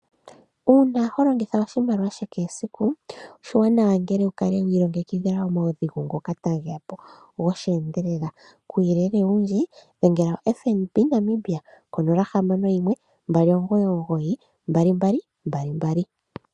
Uuna holongitha oshimaliwa kehe esiku, oshiwanawa ngele to kala wi ilongekidhila omaudhigu ngoka tage ya po gosheendelela. Kuuyelele owundji dhengela oFNB Namibia ko0612992222.